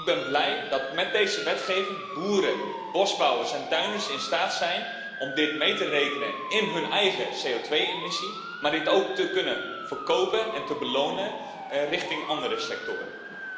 Ik ben blij dat met deze wetgeving boeren, bosbouwers en tuinders in staat zijn om dit mee te rekenen in hun eigen CO2 emissie, en dat ze dit ook kunnen verkopen en belonen richting andere sectoren.